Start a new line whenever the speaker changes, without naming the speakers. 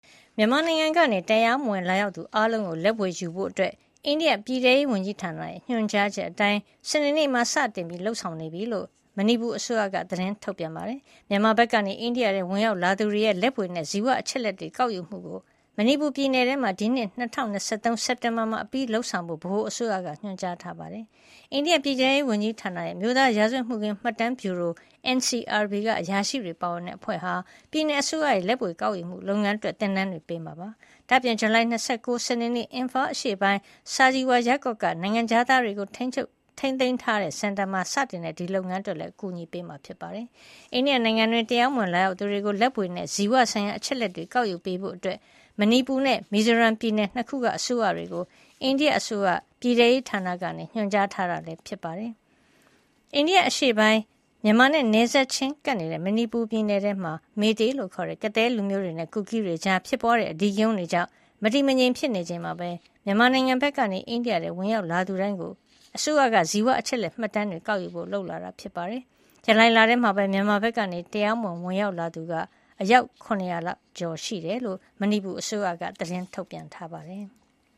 မြန်မာနိုင်ငံကနေ တရားမဝင် လာရောက်သူအားလုံးကို လက်ဗွေယူဖို့ အိန္ဒိယပြည်ထဲရေးဝန်ကြီးဌာနရဲ့ ညွှန်ကြားချက်အတိုင်း စနေနေ့မှာ စတင် လုပ်ဆောင်နေပြီဖြစ်ကြောင်း မဏိပူအစိုးရက သတင်းထုတ်ပြန်ပါတယ်။ မြန်မာဘက်ကနေ အိန္ဒိယနိုင်ငံထဲ ဝင်ရောက်လာသူတွေရဲ့ လက်ဗွေနဲ့ ဇီဝအချက်အလက်တွေ ကောက်ယူမှုကို မဏိပူပြည်နယ်ထဲမှာ ဒီနှစ် ၂၀၂၃ စက်တင်ဘာလမှာ အပြီးလုပ်ဆောင်ဖို့ ဗဟိုအစိုးရက ညွှန်ကြားထားတာပါ။ အိန္ဒိယပြည်ထဲရေးဝန်ကြီးဌာနရဲ့ အမျိုးသား ရာဇဝတ်မှုခင်း မှတ်တမ်းဗျူရို NCRB က အရာရှိတွေပါဝင်တဲ့ အဖွဲ့က ပြည်နယ်အစိုးရရဲ့ လက်ဗွေ ကောက်ယူမှုလုပ်ငန်းအတွက် သင်တန်းတွေပေးမှာ ဖြစ်ပါတယ်။ ဒါ့အပြင် ဇူလိုင်လ ၂၉ ရက် စနေနေ့ Imphal အရှေ့ပိုင်း Sajiwa ရပ်ကွက်က နိုင်ငံခြားသားတွေကို ထိန်းသိမ်းထားတဲ့ စင်တာမှာ စတင်တဲ့ ဒီလုပ်ငန်းအတွက်လည်း အကူအညီပေးမှာ ဖြစ်ပါတယ်။ အိန္ဒိယနိုင်ငံတွင်း တရားမဝင် လာရောက်သူတွေကို လက်ဗွေနဲ့ ဇီဝဆိုင်ရာ အချက်အလက်တွေ ကောက်ယူပေးဖို့ မဏိပူနဲ့ မီဇိုရမ် ပြည်နယ် ၂ ခုက အစိုးရတွေကို အိန္ဒိယအစိုးရ ပြည်ထဲရေးဌာနက ညွှန်ကြားထားတာ ဖြစ်ပါတယ်။ အိန္ဒိယနိုင်ငံအရှေ့ပိုင်း မြန်မာနဲ့ နယ်စပ်ချင်းကပ်နေတဲ့ မဏိပူပြည်နယ်ထဲမှာ မေးတေး Meitei ခေါ် ကသည်းလူမျိုးတွေနဲ့ ကူကီးလူမျိုးတွေကြား ဖြစ်ပွားတဲ့ အဓိကရုဏ်းတွေကြောင့် မတည်မငြိမ် ဖြစ်နေချိန်မှာပဲ မြန်မာနိုင်ငံဘက်ကနေ အိန္ဒိယနိုင်ငံထဲ ဝင်ရောက်လာတဲ့သူတိုင်းကို အစိုးရက ဇီဝအချက်လက်မှတ်တမ်းတွေ ကောက်ယူဖို့ လုပ်လာတာ ဖြစ်ပါတယ်။ ဇူလိုင်လထဲမှာပဲ မြန်မာဘက်ကနေ တရားမဝင် ဝင်ရောက်လာသူ ၇၀၀ ကျော်ရှိတယ်လို့ မဏိပူအစိုးရက သတင်းထုတ်ပြန်ပါတယ်။